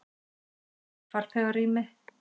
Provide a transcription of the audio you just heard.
Reykur í farþegarými